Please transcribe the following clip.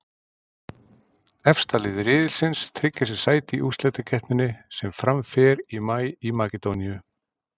Efsta lið riðilsins tryggir sér sæti í úrslitakeppninni sem fram fer í maí í Makedóníu.